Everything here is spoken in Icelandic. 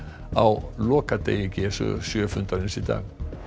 á lokadegi g sjö fundarins í dag